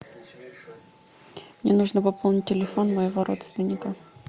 мне нужно пополнить телефон моего родственника